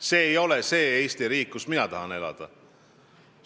See ei ole see Eesti riik, kus mina tahan elada.